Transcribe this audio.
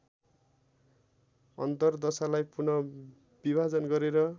अन्तरदशालाई पुन विभाजन गरेर